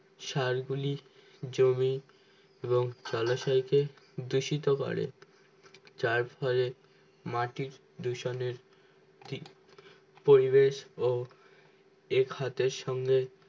সারগুলি জমি এবং জলাশয়কে ধ্যুষিত করে যার ফলে মাটি দূষণের পিবেশ ও এ খাতের সঙ্গে